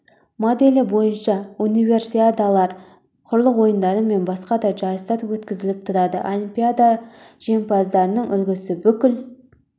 моделі бойынша универсиадалар құрлық ойындары мен басқа да жарыстар өткізіліп тұрады олимпиада жеңімпаздарының үлгісі бүкіл